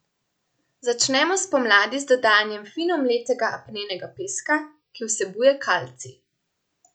Začnemo spomladi z dodajanjem fino mletega apnenega peska, ki vsebuje kalcij.